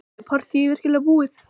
Er partýið virkilega búið?